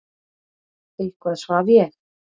Eitthvað svaf ég.